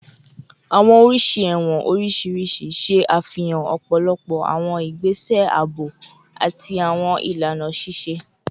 Awọn oriṣi ẹwọn oriṣiriṣi ṣe afihan ọpọlọpọ awọn igbese aabo ati awọn ilana ṣiṣe